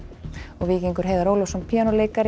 Víkingur Heiðar Ólafsson píanóleikari